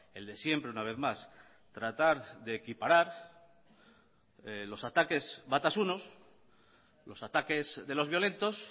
el de siempre una vez más tratar de equiparar los ataques batasunos los ataques de los violentos